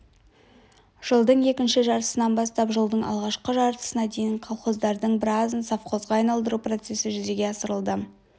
жылдың екінші жартысынан бастап жылдың алғашқы жартысына дейін колхоздардың біразын совхозға айналдыру процесі жүзеге асырылды